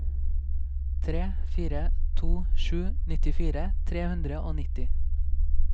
tre fire to sju nittifire tre hundre og nitti